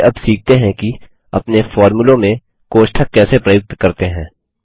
चलिए अब सीखते हैं कि अपने फोर्मुलों में कोष्ठक कैसे प्रयुक्त करते हैं